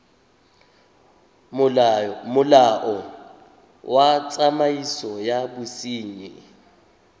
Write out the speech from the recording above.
molao wa tsamaiso ya bosenyi